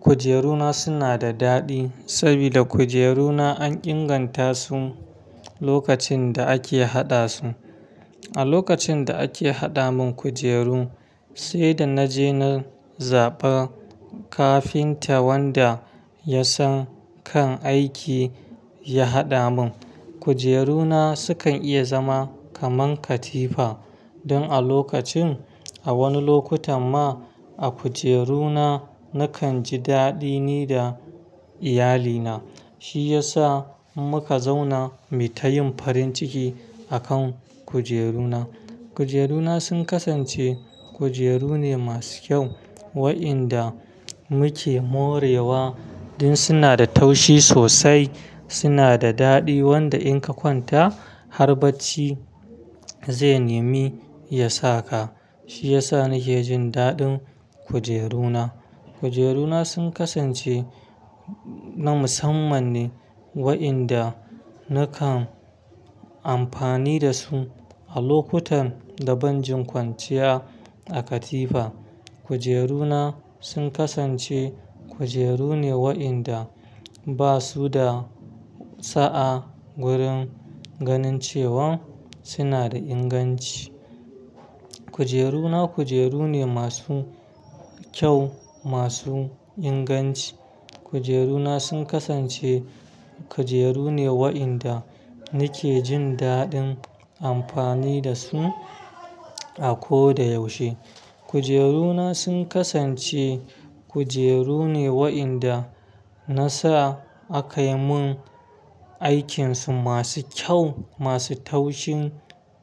Kujeru na suna da daɗi saboda kujeru na an inganta su lokacin da ake haɗa su. A lokacin da ake haɗa mun kujeru sai da na je na zaɓa kafinta wanda ya san kan aiki ya haɗa mun. Kujeru na sukan iya zama kaman katifa. Don a lokacin a wani lokutan ma a kujeru na nakan ji daɗi ni da iyali na. Shi ya sa muka zauna mu ta yin farin ciki akan kujeru na. Kujeru na sun kasance kujeru ne masu kyau wa inda muke morewa din suna da taushi sosai, suna da daɗi wanda in ka kwanta har bacci zai nemi ya sa ka. Shi yasa nake jin daɗin kujeru na. Kujeru na sun kasance na musamman ne wa inda nakan amfani da su a lokutan da ban jin kwanciya a katifa. Kujeru na sun kasance kujeru ne wa inda ba su da sa'a wurin ganin cewan suna da inganci. Kujeru na kujeru ne masu kyau, masu inganci. Kujeru na sun kasance kujeru ne wa inda nake jin daɗin amfani da su a ko da yaushe. Kujeru na sun kasance kujeru ne wa inda na sa aka yi mun aikinsu masu kyau, masu taushin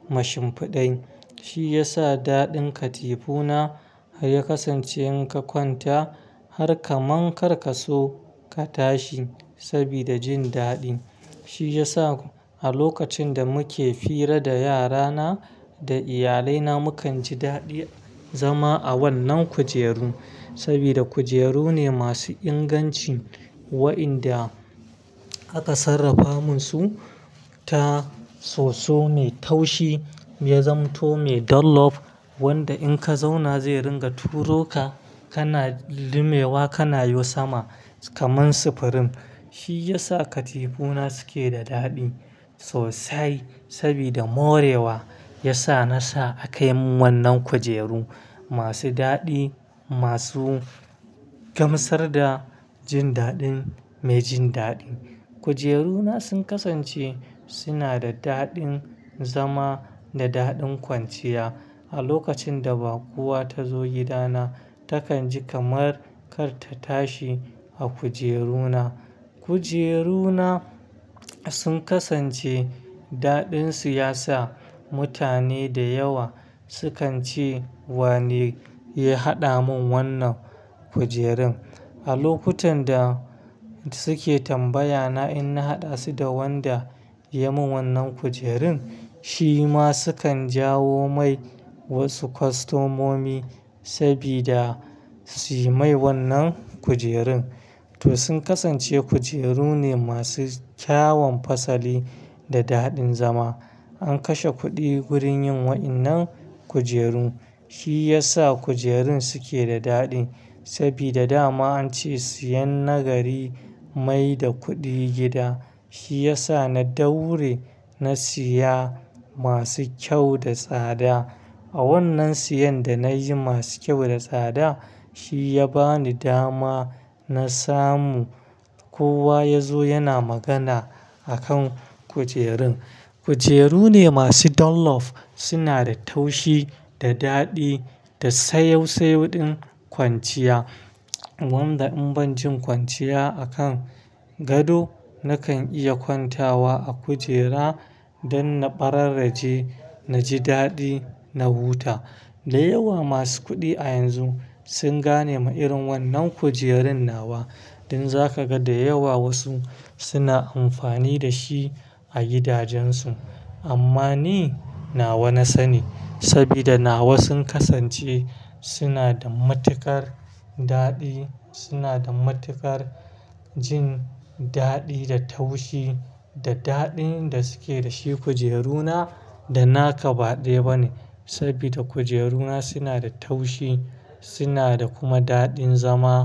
mashinfaɗin. Shi ya sa daɗin katifu na ya kasance in ka kwanta har ka man kar ka so ka tashi saboda jin daɗin. Shi ya sa a lokacin da muke hira da yara na da iyalai na mu kan ji daɗin zama a wannan kujeru. Saboda kujeru ne masu inganci wa inda aka sarrafa mun su ta soso mai taushi, yazama to, mai dollof wanda in ka zauna zai ringa turo ka kana lumewa kana hau sama kaman sifirin. Shi ya sa katifu na suke da daɗi sosai saboda morewa ya sa na sa aka mun wannan kujeru masu daɗi, masu gamsar da jin daɗin mai jin daɗi. Kujeru na sun kasance suna da daɗin zama da daɗin kwanciya. A lokacin da bakowa ta zo gida na takan ji kamar kar ta tashi a kujeru na. Kujeru na sun kasance daɗin su ya sa mutane da yawa sukan ce wane ya haɗa mun wannan kujerun. A lokutan da suke tambaya na in na haɗa su da wanda ya mun wannan kujerun. Shi ma sukan jawo mai wasu kostomomi saboda su yi mai wannan kujerun. To, sun kasance kujeru ne masu kyawun fasali da daɗin zama. An kashe kuɗi wurin yin waɗannan kujeru. Shi ya sa kujerun suke da daɗi. Saboda dama an ce siyan na gari mai da kuɗi gida. Shi ya sa na daure na siya masu kyau da tsada. A wannan siyan da na yi masu kyau da tsada shi ya bani dama na samu kowa ya zo yana magana akan kujerun. Kujeru ne masu dollof, suna da taushi da daɗi da sayau-sayau din kwanciya. Wanda in ban jin kwanciya a kan gado nakan iya kwantawa a kujera don na ɓararreje, na ji daɗi na huta. Da yawa masu kuɗi a yanzu sun gane ma irin wannan kujerun nawa. Don zakaga da yawa wasu suna amfani da shi a gidajen su. Amma ni nawa na sani saboda nawa sun kasance suna da matuƙar daɗi, suna da matuƙar jin daɗi da taushi da daɗin da suke da shi kujeru na da na ka ba ɗaya bane. Saboda kujeru na suna da taushi suna da kuma daɗin zama.